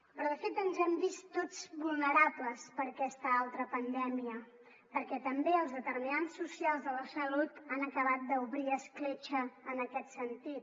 però de fet ens hem vist tots vulnerables per aquesta altra pandèmia perquè també els determinants socials de la salut han acabat d’obrir escletxa en aquest sentit